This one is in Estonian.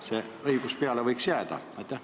Kelle õigus siis peale võiks jääda?